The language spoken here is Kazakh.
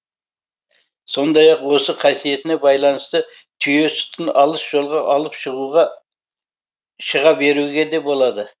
сондай ақ осы қасиетіне байланысты түйе сүтін алыс жолға алып шыға беруге де болады